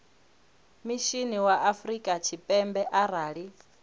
mishinini wa afrika tshipembe arali